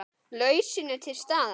Lausnin er til staðar.